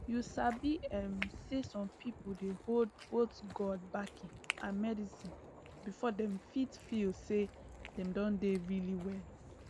you sabi um say some people dey hold both god backing and medicine before dem fit feel say dem don really well